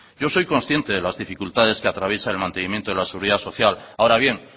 yo soy consciente de las dificultades que atraviesa el mantenimiento de la seguridad social ahora bien